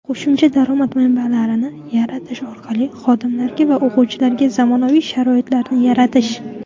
Qo‘shimcha daromad manbalarini yaratish orqali xodimlarga va o‘quvchilarga zamonaviy sharoitlarni yaratish;.